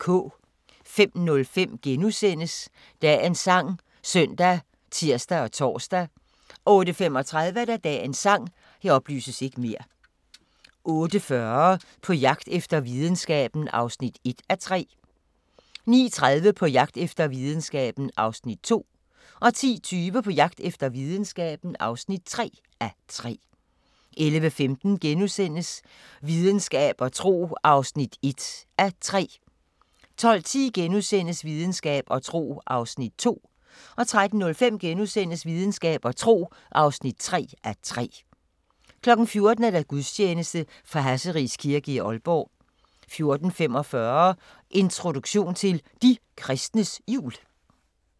05:05: Dagens sang *( søn, tir, tor) 08:35: Dagens sang 08:40: På jagt efter videnskaben (1:3) 09:30: På jagt efter videnskaben (2:3) 10:20: På jagt efter videnskaben (3:3) 11:15: Videnskab og tro (1:3)* 12:10: Videnskab og tro (2:3)* 13:05: Videnskab og tro (3:3)* 14:00: Gudstjeneste fra Hasseris Kirke, Aalborg 14:45: Introduktion til De kristnes Jul